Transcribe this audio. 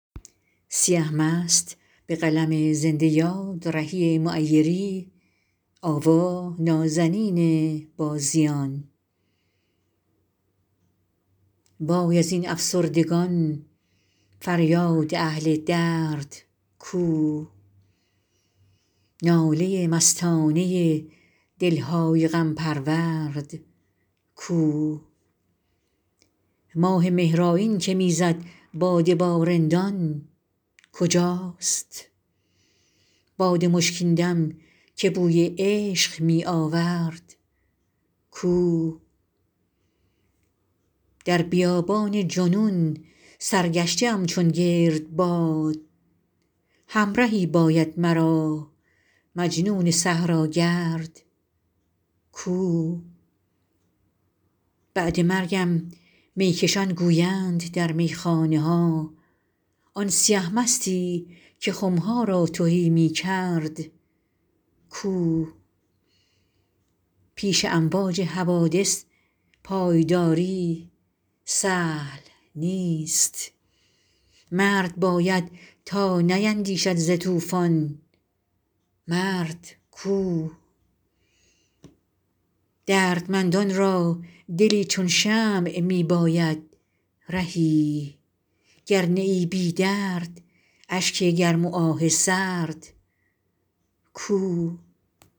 وای از این افسردگان فریاد اهل درد کو ناله مستانه دل های غم پرورد کو ماه مهرآیین که می زد باده با رندان کجاست باد مشکین دم که بوی عشق می آورد کو در بیابان جنون سرگشته ام چون گردباد همرهی باید مرا مجنون صحراگرد کو بعد مرگم می کشان گویند در میخانه ها آن سیه مستی که خم ها را تهی می کرد کو پیش امواج حوادث پایداری سهل نیست مرد باید تا نیندیشد ز طوفان مرد کو دردمندان را دلی چون شمع می باید رهی گر نه ای بی درد اشک گرم و آه سرد کو